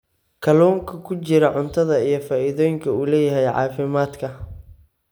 kalluunka ku jira cuntada iyo faa'iidooyinka uu u leeyahay caafimaadka.